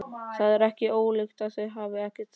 Það er ekki ólíklegt að þau hafi þekkst.